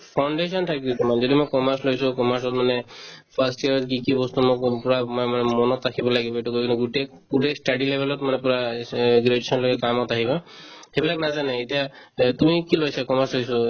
foundation থাকে তোমাৰ যিহেতু মই commerce লৈছো commerce ত মানে first year কি কি বস্তু মই আগৰ পৰা মই মানে মনত ৰাখিব লাগিব সেইটো গোটেই study level ত graduation লৈকে কামত আহিব সেইবিলাক নাজানে এতিয়া যে তুমি কি লৈছা commerce লৈছো